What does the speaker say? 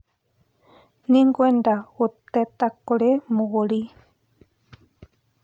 Nĩngwenda gũteta kũrĩ mũgũri.